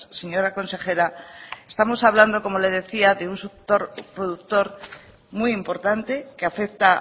señora consejera estamos hablando como le decía de un sector productor muy importante que afecta